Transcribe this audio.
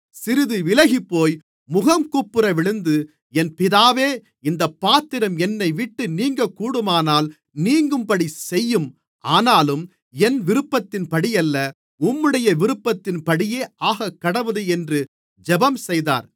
சிறிது விலகிப்போய் முகங்குப்புறவிழுந்து என் பிதாவே இந்தப் பாத்திரம் என்னைவிட்டு நீங்கக்கூடுமானால் நீங்கும்படிச் செய்யும் ஆனாலும் என் விருப்பத்தின்படியல்ல உம்முடைய விருப்பத்தின்படியே ஆகக்கடவது என்று ஜெபம்செய்தார்